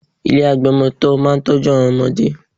Ilé agbọmọtọ́ máa ń tọ́jú àwọn ọmọdé